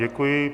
Děkuji.